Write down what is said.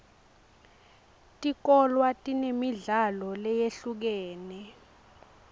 tikolwa tinemidlalo leyehlukene